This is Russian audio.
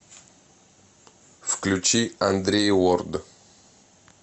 включи андрей лорд